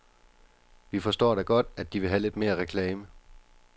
Vi forstår da godt, at de vil have lidt mere reklame.